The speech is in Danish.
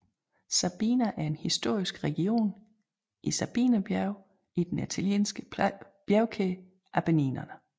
Sabina er en historisk region i Sabinerbjergene i den italienske bjergkæde Appenninerne